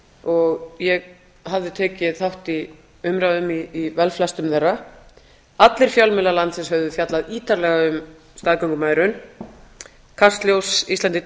og ég hafði tekið þátt í umræðum í velflestum þeirra allir fjölmiðlar landsins höfðu fjallað ítarlega um staðgöngumæðrun kastljós